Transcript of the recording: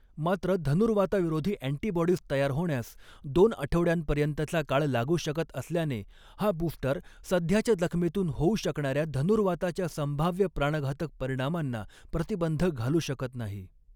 मात्र, धनुर्वाताविरोधी अँटीबॉडीज तयार होण्यास दोन आठवड्यांपर्यंतचा काळ लागू शकत असल्याने, हा बुस्टर सध्याच्या जखमेतून होऊ शकणाऱ्या धनुर्वाताच्या संभाव्य प्राणघातक परिणामांना प्रतिबंध घालू शकत नाही.